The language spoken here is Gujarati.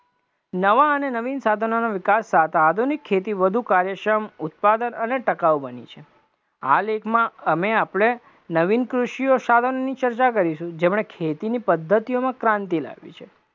નવા અને નવીન સાધનોના વિકાસ સાથે આધુનિક ખેતી વધુ કાર્યશ્રમ, ઉત્પાદક અને ટકાવ બની છે, હાલ અને આપણે નવીન કૃષિક સાધનોની ચર્ચા કરીશું, જેમને ખેતીની પદ્ધતિઓમાં ક્રાંતિ લાવી છે,